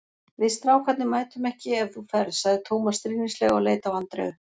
Við strákarnir mætum ekki ef þú ferð sagði Tómas stríðnislega og leit á Andreu.